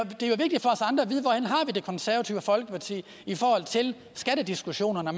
det konservative folkeparti i forhold til skattediskussionerne